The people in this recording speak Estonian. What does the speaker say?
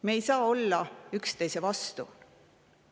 Me ei saa olla üksteise vastu.